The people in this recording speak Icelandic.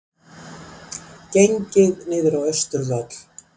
Gengið niður á Austurvöll